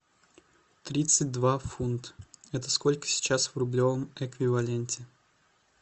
тридцать два фунта это сколько сейчас в рублевом эквиваленте